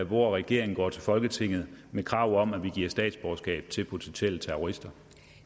hvor regeringen går til folketinget med krav om at vi giver statsborgerskab til potentielle terrorister